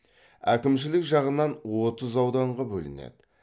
әкімшілік жағынан отыз ауданға бөлінеді